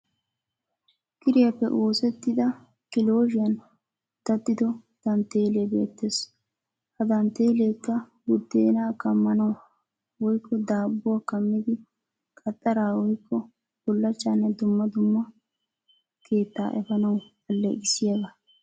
Kiriyaappe oosettida kilooshiyan daddido dantteelle beettes. Ha dantteelleekka buddeenaa kaammanawu woyikko daabbuwa kaammidi qaxxara woyikko bullachchanne dumma dumma keettaa efanawu alleqissiyagaa.